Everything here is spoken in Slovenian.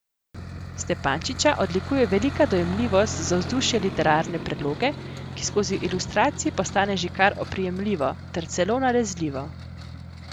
Stepančiča odlikuje velika dojemljivost za vzdušje literarne predloge, ki skozi ilustracije postane že kar oprijemljivo, ter celo nalezljivo.